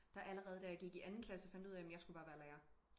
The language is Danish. Der allerede da jeg gik i anden klasse fandt ud af jamen jeg skulle bare være lærer